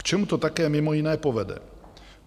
K čemu to také mimo jiné povede?